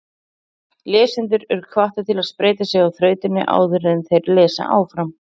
Lesendur eru hvattir til að spreyta sig á þrautinni áður en þeir lesa áfram.